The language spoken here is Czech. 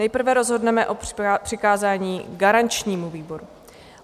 Nejprve rozhodneme o přikázání garančnímu výboru.